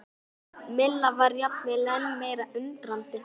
Milla var jafnvel enn meira undrandi.